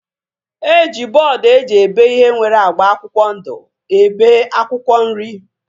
E ji bọọdu eji ebe ihe nwere agba akwụkwọ ndụ ebe akwụkwọ nri